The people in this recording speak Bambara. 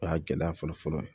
O y'a gɛlɛya fɔlɔ fɔlɔ ye